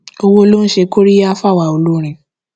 owó ló ń ṣe kóríyá fáwa olórin